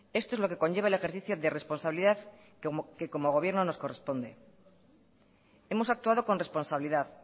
esto es lo que conlleva el ejercicio de responsabilidad que como gobierno nos corresponde hemos actuado con responsabilidad